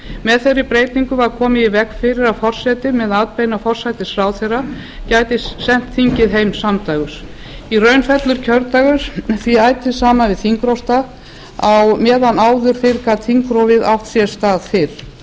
með þeirri breytingu var komið í veg fyrir að forseti með atbeina forsætisráðherra gæti sent þingið heim samdægurs í raun þess var kjördagur því ætíð saman við þingrofsdag á meðan áður fyrr gat þingrofið átt sér stað